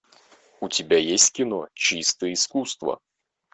у тебя есть кино чисто искусство